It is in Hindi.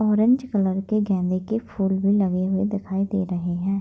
ऑरेंज कलर के गेंदे के फूल भी लगे हुए दिखाई दे रहें हैं।